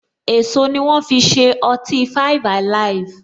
Èso ni wọn fi ṣe ọtí five alive.